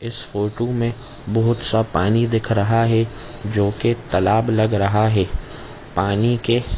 इस फोटो में बहुत सा पानी दिख रहा है जोकि तालाब लग रहा है पानी के--